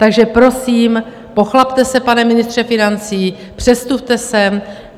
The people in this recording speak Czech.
Takže prosím, pochlapte se, pane ministře financí, předstupte sem.